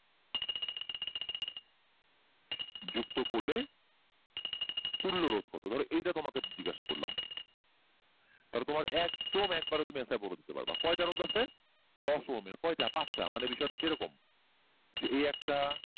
যুক্ত করলে তুল্যরোধ কত তাহলে এটা তোমাকে জিজ্ঞাসা করলাম তাহলে তোমার একদম একবারে তুমি answer বলে দিতে পারবা কয়টা রোধ আছে দশ ওহমের কয়টা পাঁচটা মানে বিষয়টা হলো যে এরকম যে এই একটা